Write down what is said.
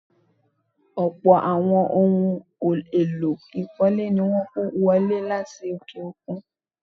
Ọlpọ̀ àwọn ohun-èèlò ìkọ́lé ní wọ́n kó wọlé láti òkè-òkun.